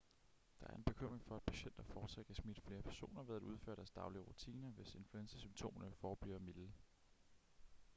der er en bekymring for at patienter fortsat kan smitte flere personer ved at udføre deres daglige rutiner hvis influenzasymptomerne forbliver milde